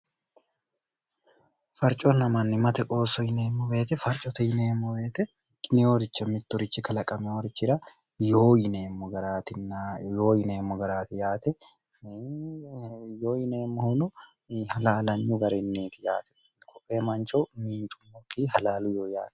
farconna manni mate qooso yineemmo beete farcote yineemmo beete gineyoricha mitturichi kalaqamehorichira yoo yineemmo garaati yaateyoo yineemmohono halaalanyu garinniiti yaate kohee mancho miincummokki halaalu yoo yaate